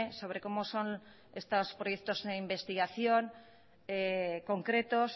sobre cómo son estos proyectos de investigación concretos